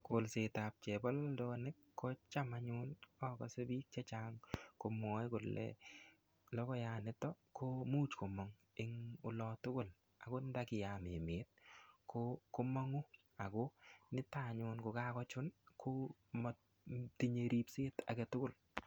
Kolsetab chebololonik, kocham anyun akase biik chechang komwae kole logoiyat niton komuch komang eng olo tugul. Angot ndakiyam emet, ko komangu. Ako niton anyun, kokachun, komatinye ripset age tugul.